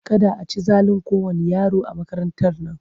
Kada a ci zalin kowanne yaro a makarantar nan!